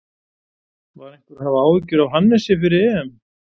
Var einhver að hafa áhyggjur af Hannesi fyrir EM?